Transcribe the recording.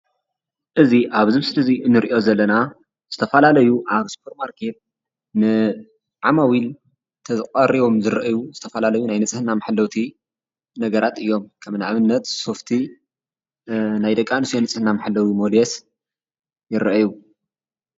እዚ ኣብዚ ምስሊ እዚ ንሪኦ ዘለና ዝተፈላለዩ ኣብ ሱፐር ማርኬት ንዓማዊል ተቐሪቦም ዝርአዩ ዝተፈላለዩ ናይ ንፅህና መሓለውቲ ነገራት እዮም፡፡ ንኣብነት ሶፍቲ፣ ናይ ደቂ ኣንስትዮ ናይ ንፅህና መሓለዊ ሞዴስ ይረአዩ፡፡